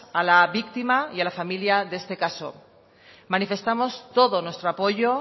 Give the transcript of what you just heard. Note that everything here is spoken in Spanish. a la víctima y a la familia de este caso manifestamos todo nuestro apoyo